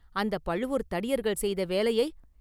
அந்தப் பழுவூர்த் தடியர்கள் செய்த வேலையை!